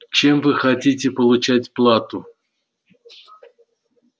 чем вы хотите получать плату